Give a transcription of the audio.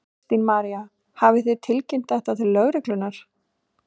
Kristín María: Hafið þið tilkynnt þetta til lögreglunnar?